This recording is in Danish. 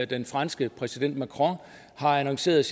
den franske præsident macron har annonceret